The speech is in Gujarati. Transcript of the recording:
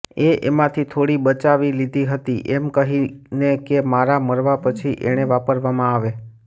એ એમાંથી થોડી બચાવી લીધી હતી એમ કહીને કે મારા મરવા પછી એને વાપરવામાં આવે